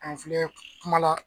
An filɛ kumala.